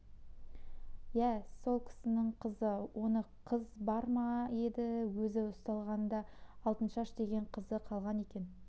иә сол кісінің қызы онда қыз бар ма еді өзі ұсталғанда алтыншаш деген қызы қалған екен